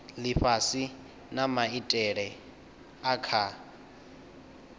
lifhasi na maitele a kha